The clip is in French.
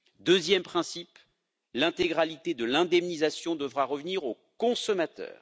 Deuxième principe, l'intégralité de l'indemnisation devra revenir au consommateur.